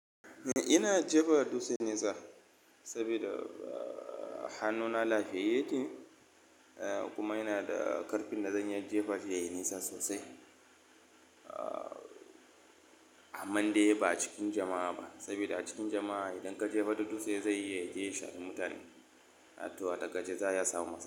Ina jefa dutse nesa sabida hannuna lafiyayyene kuma ina da ƙarfin da zan iya jefa shi yayi nisa sosai. Amman dai ba a cikin jama'a ba, sabida a cikin jama'a idan ka jefa dutse zai iya yaje ya shafi mutane, a to a takaice za'a iya samun matsala.